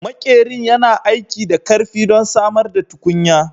Maƙerin yana aiki da ƙarfi don samar da tukunya